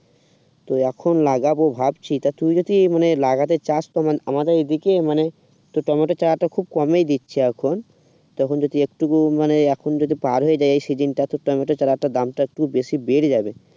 তো এখন লাগাবো ভাবছি তা তুই যদি মানে লাগাতে চাস তেমন আমাদের দিকে মানে টমেটো চারা তো খুব কমই দিচ্ছে এখন তখন যদি একটুকু মানে এখন যদি পার হয়ে যায় এই সিজিনটা তোর টমেটো চারাটা বাঁধতে একটু বেশি দেরি লাগে